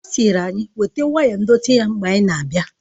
Ọ sịrị anyị weta waya ndọtị ya mgbe anyị na-abịa